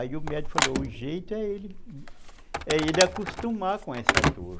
Aí o médico falou, o jeito é ele, é ele acostumar com essa dor.